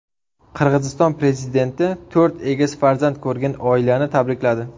Qirg‘iziston prezidenti to‘rt egiz farzand ko‘rgan oilani tabrikladi.